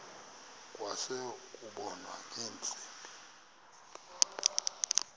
kwase kubonwa ngeentsimbi